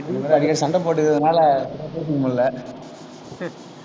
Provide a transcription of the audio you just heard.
அடிக்கடி சண்டை போட்டுக்கறதுனால, சரியா பேசிக்க முடியலை